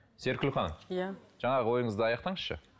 серікгүл ханым иә жаңағы ойыңызды аяқтаңызшы